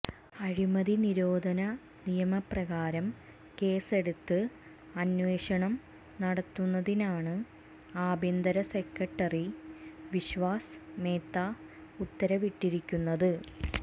അഴിമതി നിരോധന നിയമ പ്രകാരം കേസെടുത്ത് അന്വേഷണം നടത്തുന്നതിനാണ് ആഭ്യന്തര സെക്രട്ടറി വിശ്വാസ് മേത്ത ഉത്തരവിട്ടിരിക്കുന്നത്